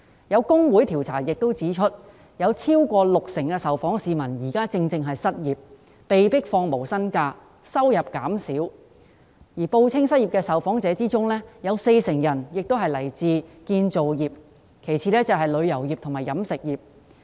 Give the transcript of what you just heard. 有工會調查亦指出，有超過六成受訪市民現正失業，或被迫放無薪假，收入減少；而在報稱失業的受訪者中，有四成人來自建造業，其次是旅遊業及飲食業。